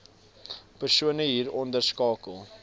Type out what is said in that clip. persone hieronder skakel